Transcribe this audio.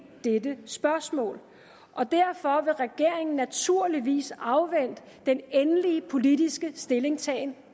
dette spørgsmål og derfor vil regeringen naturligvis afvente den endelige politiske stillingtagen